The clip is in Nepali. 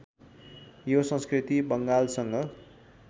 यो संस्कृति बङ्गालसँग